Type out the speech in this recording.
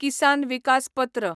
किसान विकास पत्र